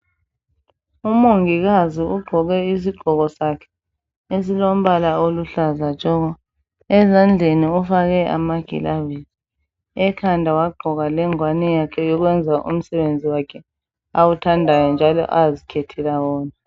Umongikazi ugqoke isigqoko sakhe esilombala oluhlaza tshoko, ezandleni ufake amagilavisi ekhanda wagqoka lengwane yakhe yokwenza umsebenzi wakhe awuthandayo njalo azikhethela wona